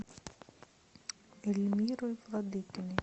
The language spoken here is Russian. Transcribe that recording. эльмирой владыкиной